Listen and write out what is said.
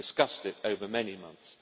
We have discussed it over many months.